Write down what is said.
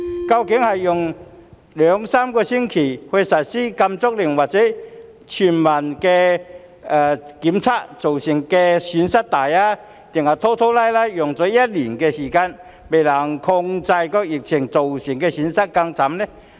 究竟是用兩三星期實施禁足令或全民檢測造成的損失大，還是拖拖拉拉用一年時間仍未能控制疫情造成的損失更甚？